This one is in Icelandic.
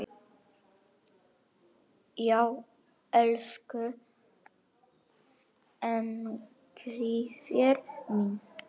Já, elsku Engifer minn.